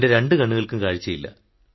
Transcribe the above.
എന്റെ രണ്ടു കണ്ണുകൾക്കും കാഴ്ചയില്ല